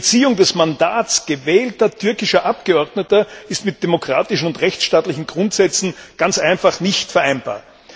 Die Entziehung des Mandats gewählter türkischer Abgeordneter ist mit demokratischen und rechtsstaatlichen Grundsätzen ganz einfach nicht vereinbar.